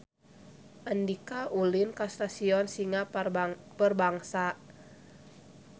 Andika ulin ka Stadion Singa Perbangsa